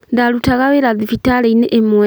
Ndarutaga wĩra thibitarĩ-inĩ ĩmwe